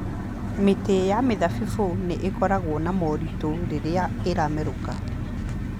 Mĩtĩ ya mĩthabibũ nĩ ĩkoragwo na moritũ rĩrĩa ĩramerũka